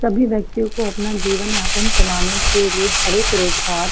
सभी व्यक्तियो को अपना जीवन यापन चलाने के लिए हर एक रोजगार --